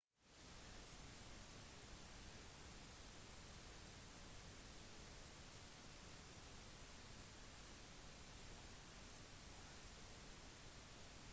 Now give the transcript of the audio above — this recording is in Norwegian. en smittsom sykdom er en sykdom som lett kan bli overført ved å være nær en som har sykdommen